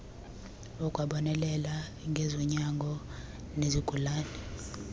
akwabonelela ngezonyango nezigulane